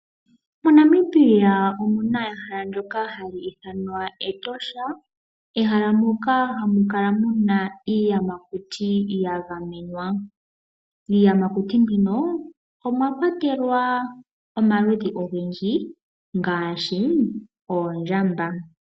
MoNamibia omuna ehala ndyoka hali ithanwa Etosha. Ehala moka hamu kala muna iiyamakuti ya gamenwa. Iiyamakuti mbino omwa kwatelwa omaludhi ogendji ngaashi ondjamba.